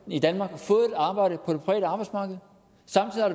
i danmark fået et arbejde på det private arbejdsmarked